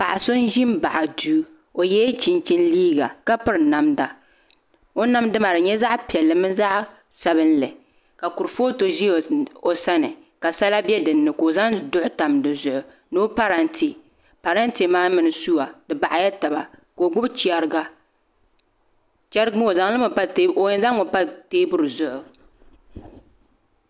Paɣa so n ʒi n baɣa duu o yɛla chinchin liiga ka piri namda o namda maa di nyɛla zaɣ piɛlli mini zaɣ sabinli ka kurifooti ʒi o sani ka sala bɛ dinni ka o zaŋ duɣu tam dizuɣu ni o parantɛ parantɛ maa mini suwa di baɣala taba ka o gbubi chɛriga chɛrigi maa o yɛn zaŋmi pa teebuli zuɣu